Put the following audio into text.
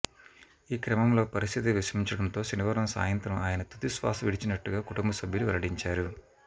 ఈ క్రమంలో పరిస్థితి విషమించటంతో శనివారం సాయంత్రం ఆయన తుది శ్వాస విడిచినట్టుగా కుటుంబ సభ్యులు వెల్లడించారు